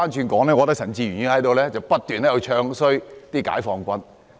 我反而覺得陳志全議員不斷在"唱衰"解放軍。